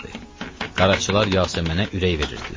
Qaracılar Yasəmənə ürək verirdilər.